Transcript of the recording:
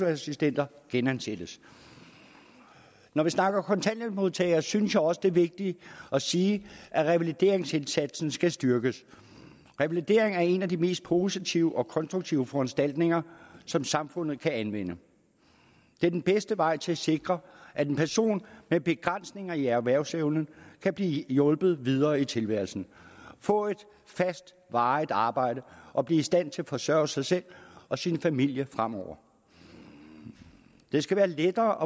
assistenter genansættes når vi snakker om kontanthjælpsmodtagere synes jeg også det er vigtigt at sige at revalideringsindsatsen skal styrkes revalidering er en af de mest positive og konstruktive foranstaltninger som samfundet kan anvende det er den bedste vej til at sikre at en person med begrænsninger i erhvervsevnen kan blive hjulpet videre i tilværelsen og få et fast varigt arbejde og blive i stand til at forsørge sig selv og sin familie fremover det skal være lettere